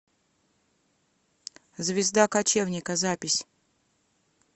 звезда кочевника запись